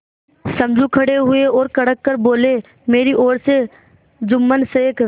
समझू खड़े हुए और कड़क कर बोलेमेरी ओर से जुम्मन शेख